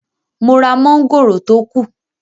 Mo ra mọ́ngòrò tó kù